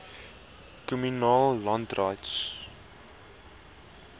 communal land rights